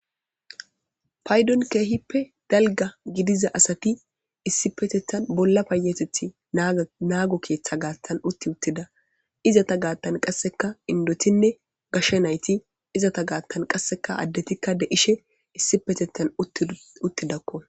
Paydon keehippe dalga gidiza asati issipetetan bolla payateti nago keta gatan uti utida. Izeta gatan qasekka indotinne gashe nayti, izeta gatan qaseka adetikka de'ishn issipetetan utidako